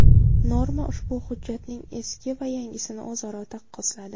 Norma ushbu hujjatning eski va yangisini o‘zaro taqqosladi .